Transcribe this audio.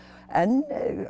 en